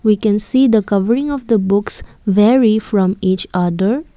we can see the covering of the books vary from each other.